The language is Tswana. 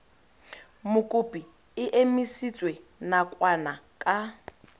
mokopi e emisitswe nakwana ka